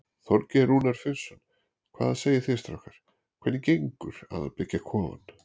Þorgeir Rúnar Finnsson: Hvað segið þið strákar, hvernig gengur að byggja kofann?